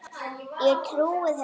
Ég trúi þessu bara.